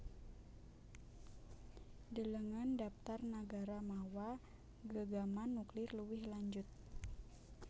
Delengen dhaptar nagara mawa gegaman nuklir luwih lanjut